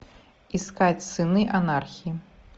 искать сыны анархии